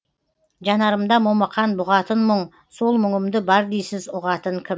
жанарымда момақан бұғатын мұң сол мұңымды бар дейсіз ұғатын кім